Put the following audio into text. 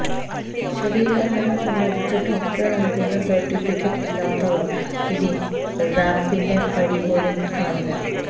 ശരീരഭാരം സംബന്ധിച്ച് ഡോക്ടർ നൽകുന്ന സർട്ടിഫിക്കറ്റ് ഇല്ലാത്തവർ ഇനി റാംപിന്റെ പടിപോലും കാണില്ല